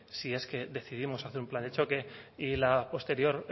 si es que decidimos hacer un plan de choque y la posterior